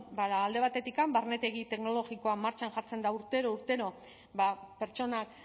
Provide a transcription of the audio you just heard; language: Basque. bueno ba alde batetik barnetegi teknologikoa martxan jartzen da urtero urtero ba pertsonak